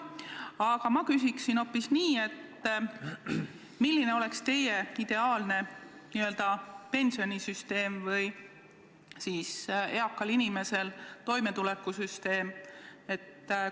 Aga ma küsin hoopis nii: milline oleks teie arvates ideaalne pensionisüsteem ehk siis eaka inimese toimetuleku süsteem?